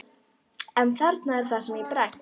En þarna er það sem ég bregst.